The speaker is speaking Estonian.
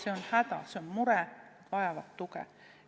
Nad on hädas, nad on mures, nad vajavad tuge.